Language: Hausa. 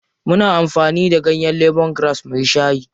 Muna amfani da ganyen lemongrass muyi shayi.